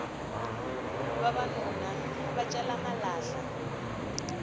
vavanuna va cela malahla